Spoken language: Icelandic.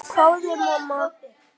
hváði mamma.